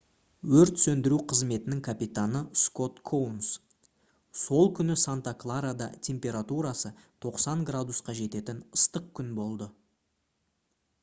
өрт сөндіру қызметінің капитаны скот коунс: «сол күні санта-кларада температурасы 90 градусқа жететін ыстық күн болды